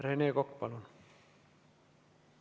Rene Kokk, palun!